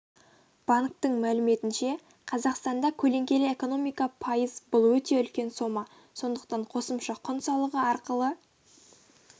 банктің мәліметінше қазақстанда көлеңкелі экономика пайыз бұл өте үлкен сома сондықтан қосымша құн салығы арқылы